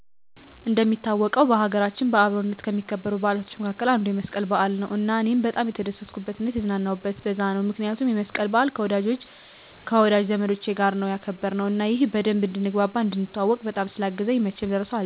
እንደሚታወቀው በሀገራችን በአብሮነት ከሚከበሩ በዓላቶች መካከል አንዱ የመስቀል በዓል ነው እና እኔም በጣም የተደሰትኩበት እና የተዝናናሁበት በዛ ነው ምክንያቱም የመስቀልን በዓል ከወዳጅ ዘመዶቻች ጋር ነው ያከበርነው እና ይህም በደንብ እንድንግባባ፣ እንድንተዋዎቅ፣ በጣም ስላገዘኝ መቼም ልረሳው አልችልም